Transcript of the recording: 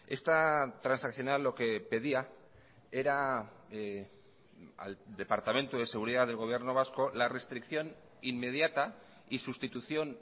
esta transaccional lo que pedía era al departamento de seguridad del gobierno vasco la restricción inmediata y sustitución